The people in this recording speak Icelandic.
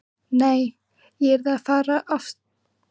Nei, ég yrði að fara í fóstureyðingu.